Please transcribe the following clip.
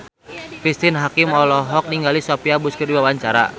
Cristine Hakim olohok ningali Sophia Bush keur diwawancara